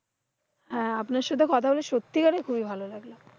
হ্যাঁ, আপনার সাথে কথা বলে সত্যিকারে খুবই ভালো লাগলো।